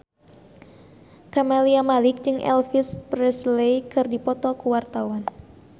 Camelia Malik jeung Elvis Presley keur dipoto ku wartawan